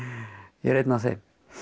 ég er einn af þeim